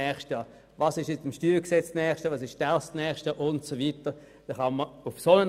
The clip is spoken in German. Wir sind dafür, das Ganze nächstes Jahr nochmals genau anzuschauen: